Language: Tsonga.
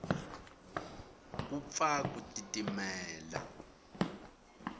ku pfa ku titimela